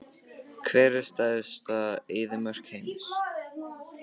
Hver er stærsta eyðimörk heims?